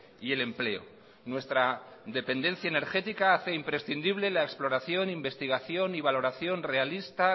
y el empleo nuestra dependencia energética hace imprescindible la exploración investigación y valoración realista